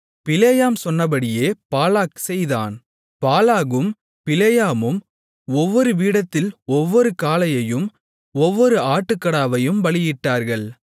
பிலேயாம் சொன்னபடியே பாலாக் செய்தான் பாலாகும் பிலேயாமும் ஒவ்வொரு பீடத்தில் ஒவ்வொரு காளையையும் ஒவ்வொரு ஆட்டுக்கடாவையும் பலியிட்டார்கள்